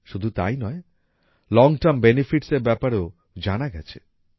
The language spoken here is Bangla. শুধু তাই নয় লং টার্ম বেনিফিটস এর ব্যাপারেও জানা গেছে